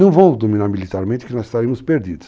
Não vão dominar militarmente que nós estaremos perdidos.